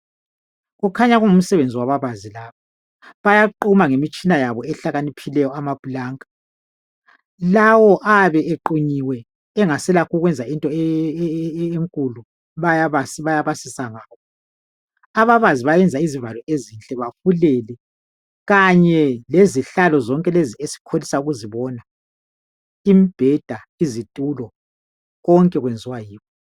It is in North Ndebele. Kukhanya kungumsebenzi wababazi lapha bayaquma ngemitshina yabo ehlakaniphileyo amapulanka lawo ayabe equnyiwe engaselakho okokwenza into enkulu bayabasisa ngakho ababazi bayayenza izivalo ezinhle bafulele kanye lezihlalo lezi esikholisa ukuzibona imibheda izitulo konke kwenziwa yibo.